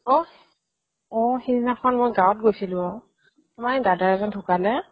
অহ্, অ সেইদিনাখন মই গাঁৱত গৈছিলো অ' আমাৰ এই দাদা এজন ঢুকালে